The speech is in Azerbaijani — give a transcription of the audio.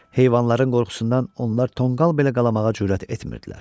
Heyvanların qorxusundan onlar tonqal belə qalamağa cürət etmirdilər.